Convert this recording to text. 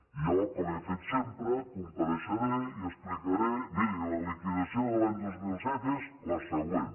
i jo com he fet sempre compareixeré i explicaré miri la liquidació de l’any del dos mil set és la següent